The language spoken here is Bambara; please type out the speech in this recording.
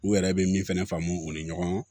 U yɛrɛ bɛ min fɛnɛ faamu u ni ɲɔgɔn